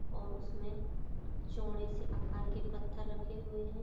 --और उसने चौड़े से आकार के पत्थर रखे हुए है।